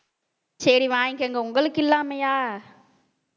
சரி வாங்கிக்கங்க உங்களுக்கு இல்லாமயா